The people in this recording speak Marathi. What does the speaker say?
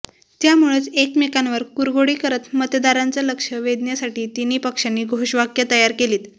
त्यामुळंच एकमेंकावर कुरघोडी करत मतदारांचं लक्ष वेधण्यासाठी तिन्ही पक्षांनी घोषवाक्य तयार केलीत